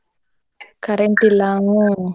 Current ಇಲ್ಲ ಹ್ಮ್